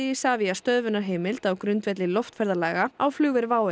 Isavia stöðvunarheimild á grundvelli loftferðalaga á flugvél WOW